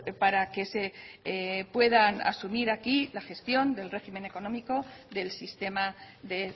para que se puedan asumir aquí la gestión del régimen económico del sistema de